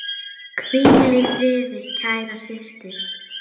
Hvíl í friði, kæra systir.